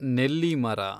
ನೆಲ್ಲಿ ಮರ